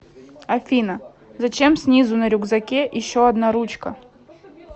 афина зачем снизу на рюкзаке еще одна ручка